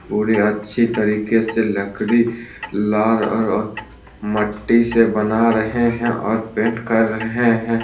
पूरी अच्छी तरीके से लकरी लार और और मट्टी से बना रहें हैं और पेंट कर रहे हैं।